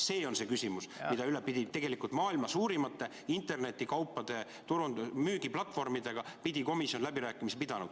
See on see küsimus, mille üle pidi komisjon tegelikult maailma suurimate internetikaupade müügiplatvormidega läbirääkimisi pidama.